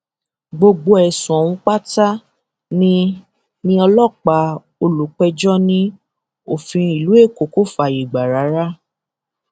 ṣùgbọn um fíìmù kan tí muyini um adémọlá ṣe alápàdúpẹ ni ọlọrun fi yọ mí kúrò nípò ìrònú náà